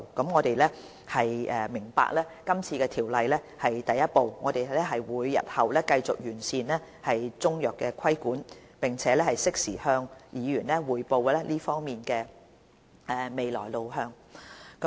我們明白今次《條例草案》是第一步，我們日後會繼續完善規管中藥的工作，並適時向議員匯報這方面的未來路向。